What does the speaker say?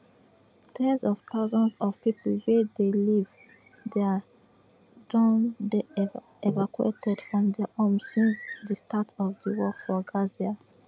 ten s of thousands of pipo wey dey live dia don dey evacuated from dia homes since di start of di war for gaza